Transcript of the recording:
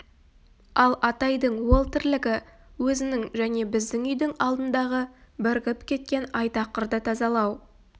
ал атайдың ол тірлігі өзінің және біздің үйдің алдындағы бірігіп кеткен айтақырды тазалау